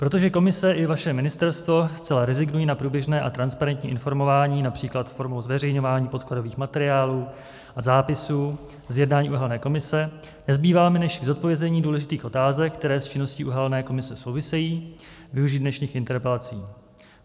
Protože komise i vaše ministerstvo zcela rezignují na průběžné a transparentní informování například formou zveřejňování podkladových materiálů a zápisů z jednání uhelné komise, nezbývá mi, než k zodpovězení důležitých otázek, které s činností uhelné komise souvisejí, využít dnešních interpelací.